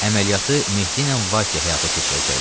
Əməliyyatı Mehdi ilə Vase həyata keçirəcəkdi.